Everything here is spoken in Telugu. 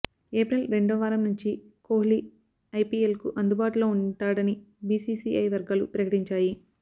ఏప్రిల్ రెండవ వారం నుంచి కోహ్లీ ఐపిఎల్కు అందుబాటులో ఉంటాడని బిసిసిఐ వర్గాలు ప్రకటించాయి